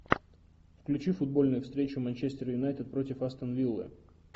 включи футбольную встречу манчестер юнайтед против астон виллы